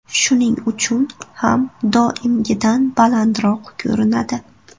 Shuning uchun ham doimgidan balandroq ko‘rinadi.